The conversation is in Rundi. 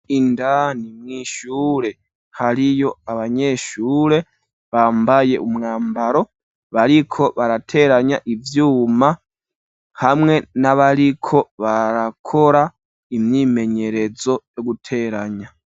Indani mw,ishure hariyo abanyeshure bambaye umwambaro bariko barateranya ivyuma, hamwe n'abariko barakora imyimenyerezo yo guteranya.